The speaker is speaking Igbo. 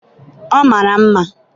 ọ mara mma